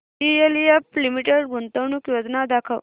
DLF limited गुंतवणूक योजना दाखव